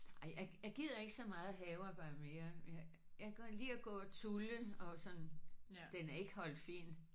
Ej jeg jeg gider ikke så meget havearbejde mere jeg jeg kan godt lide at gå og tulle og sådan. Den er ikke holdt fin